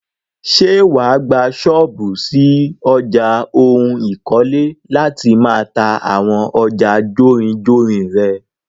Ṣé wàá gbà ṣọ́ọ́bù ṣí ọjà oun ikole láti máà ta àwọn ọjà jórinjórin rẹ?